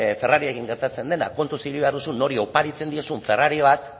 ferrariekin gertatzen dena kontuz ibili behar duzu nori oparitzen diozun ferrari bat